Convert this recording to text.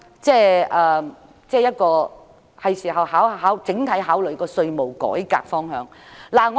政府是時候考慮整體的稅務改革方向了。